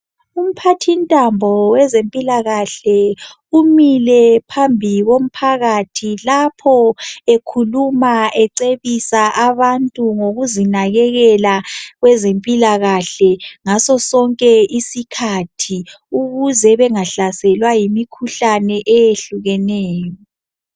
Umphathi ntambo wezempilakahle umile phambi komphakathi lapho ekhuluma ecebisa abantu ngokuzinakekela kwezempilakahle ngaso sonke isikhathi ukuze bengahlaselwa yimikhuhlane eyehlukeneyo.